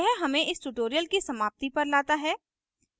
यह हमें इस tutorial की समाप्ति पर लाता है